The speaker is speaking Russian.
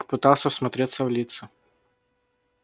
попытался всмотреться в лица